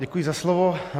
Děkuji za slovo.